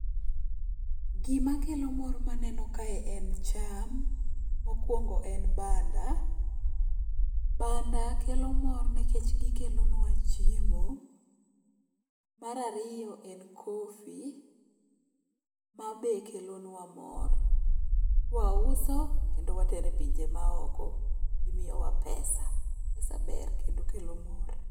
Gimakelo mor maneno kae en cham, mokwongo en banda. Banda kelo mor nikech gikelonwa chiemo. Mar ariyo en coffee mabe kelonwa mor. Kwauso kendo watero e pinje maoko. Gimiyowa pesa. pesa ber kendo kelo mor.